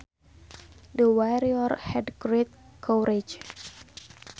The warrior had great courage